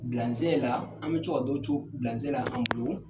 la an bɛ co ka dɔw co la an bolo.